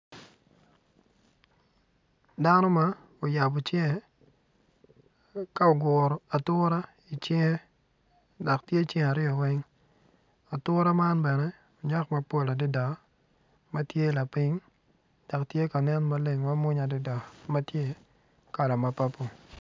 Dano ma oyabo cinge ka oguro ature i cinge dok tye cinge aryo weng ature man bene onyak mapol adada ma tye lapiny dok tye ka nen mamwonya adada.